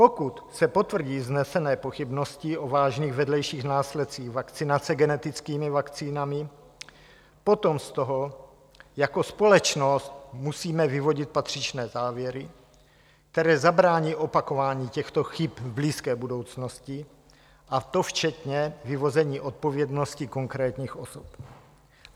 Pokud se potvrdí vznesené pochybnosti o vážných vedlejších následcích vakcinace genetickými vakcínami, potom z toho jako společnost musíme vyvodit patřičné závěry, které zabrání opakování těchto chyb v blízké budoucnosti, a to včetně vyvození odpovědnosti konkrétních osob.